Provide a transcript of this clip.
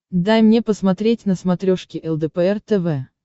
дай мне посмотреть на смотрешке лдпр тв